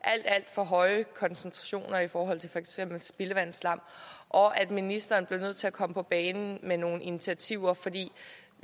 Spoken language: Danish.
alt alt for høje koncentrationer i for eksempel spildevandsslam og at ministeren blev nødt til at komme på banen med nogle initiativer for